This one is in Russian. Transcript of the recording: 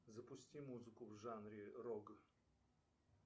запусти музыку в жанре рок